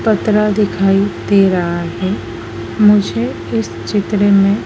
पत्रा दिखाई दे रहा है मुझे इस चित्र में--